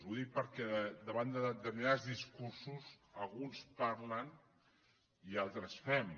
ho dic perquè davant de determinats discursos alguns parlen i altres fem